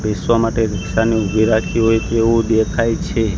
બેસવા માટે રિક્ષા ને ઉભી રાખી હોઇ તેવુ દેખાય છે.